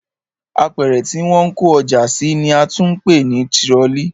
Apẹ̀rẹ̀ tí wọ́n ń kó ọjà sí ni a tún ń pè ní tirọlí